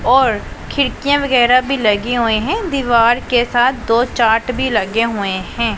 और खिड़कियां वगैरह भी लगी हुई हैं दीवार के साथ दो चार्ट भी लगे हुए हैं।